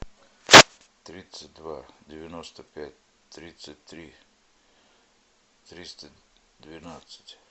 тридцать два девяносто пять тридцать три триста двенадцать